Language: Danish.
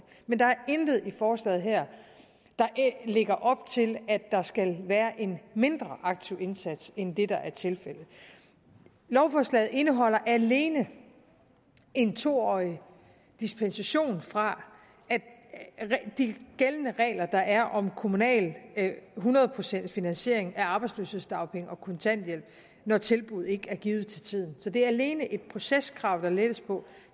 men der er intet i forslaget her der lægger op til at der skal være en mindre aktiv indsats end det der er tilfældet lovforslaget indeholder alene en to årig suspension fra de gældende regler der er om kommunal hundrede pcts finansiering af arbejdsløshedsdagpenge og kontanthjælp når tilbud ikke er givet til tiden så det er alene et proceskrav der lettes på